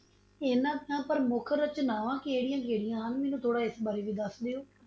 ਇਹਨਾਂ ਦਾ ਪ੍ਰਮੁੱਖ ਰਚਨਾਵਾਂ ਕਿਹੜੀਆਂ-ਕਿਹੜੀਆਂ ਹਨ ਮੈਨੂੰ ਥੋੜਾ ਇਸ ਬਾਰੇ ਵੀ ਦਸ ਦਿਓ।